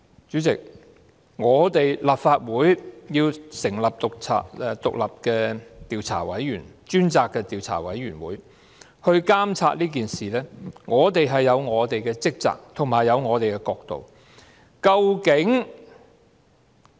主席，立法會要成立獨立專責委員會來調查事件，我們是有我們的職責和角度的。